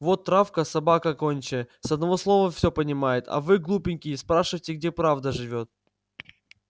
вот травка собака гончая с одного слова все понимает а вы глупенькие спрашиваете где правда живёт